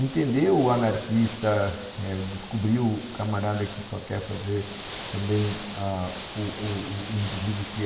Entender o anarquista, eh, descobrir o camarada que só quer fazer também ah o o indivíduo que é...